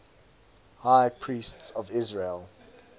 high priests of israel